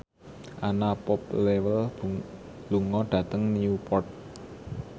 Anna Popplewell lunga dhateng Newport